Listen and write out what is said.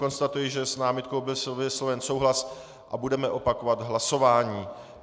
Konstatuji, že s námitkou byl vysloven souhlas a budeme opakovat hlasování.